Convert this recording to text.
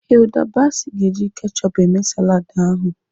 Hilda Baci ga-eji kechup eme saladị ahụ.